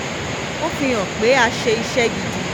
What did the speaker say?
ó fi hàn pé a ṣe iṣẹ́ gidi